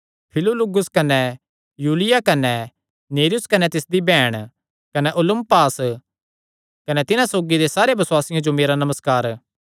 फिलुलुगुस कने यूलिया कने नेर्युस कने तिसदी बैहण कने उलुम्पास कने तिन्हां सौगी दे सारे बसुआसियां जो मेरा नमस्कार